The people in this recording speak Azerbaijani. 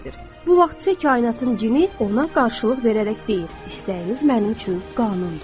Bu vaxtsa kainatın cini ona qarşılıq verərək deyir: İstəyiniz mənim üçün qanundur.